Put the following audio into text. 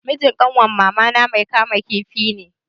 Mijin kanwar mamana mai kama kifi ne.